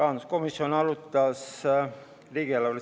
Head kolleegid!